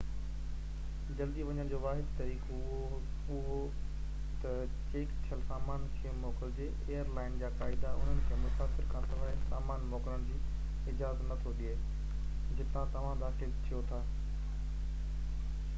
جلدي وڃڻ جو واحد طريقو اهو تہ چيڪ ٿيل سامان کي موڪلجي ايئر لائن جا قاعدا انهن کي مسافر کانسواءِ سامان موڪلڻ جي اجازت نٿو ڏي جتان توهان داخل ٿيو ٿا